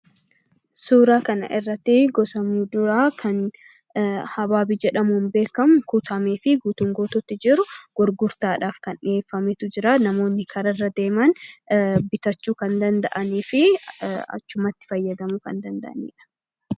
Suuraa kanaa gadii irraa kan mul'atu gosa muduraa kan habaabii jedhamuun beekamu fi gurgurtaaf kan ooluu dha.